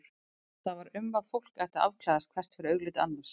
Það var um að fólk ætti að afklæðast hvert fyrir augliti annars.